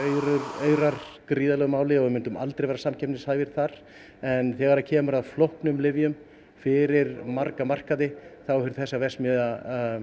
aurar gríðarlegu máli og við myndum aldrei vera samkeppnishæfir þar en þegar kemur að flóknum lyfjum fyrir marga markaði þá hefur þessi verksmiðja